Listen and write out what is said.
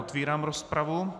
Otevírám rozpravu.